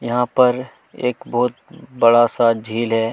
यहाँ प रएक बहोत ही बड़ा सा झील है।